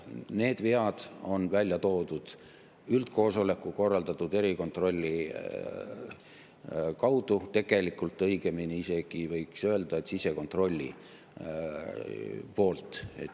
Need vead on välja toodud üldkoosoleku korraldatud erikontrolli kaudu või õigemini võiks isegi öelda, et sisekontrolli poolt.